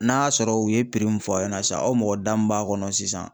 N'a sɔrɔ u ye min fɔ aw ɲɛna sisan aw mɔgɔ da min b'a kɔnɔ sisan